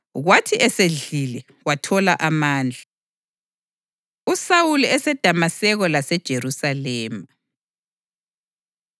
kwathi esedlile, wathola amandla. USawuli EseDamaseko LaseJerusalema USawuli wahlala insuku ezithile labafundi eDamaseko.